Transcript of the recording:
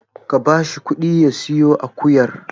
Ka ba shi ƙuɗi ya siyo akuyar.